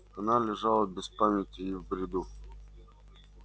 она лежала без памяти и в бреду